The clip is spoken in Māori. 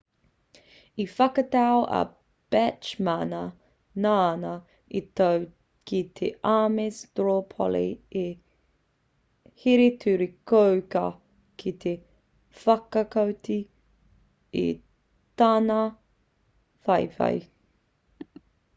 i whakatau a bachmana nāna i toa ki te ames straw poll i here-turi-kōkā ki te whakaoti i tana whawhai